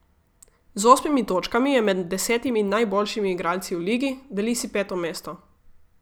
Z osmimi točkami je med desetimi najboljšimi igralci v ligi, deli si peto mesto.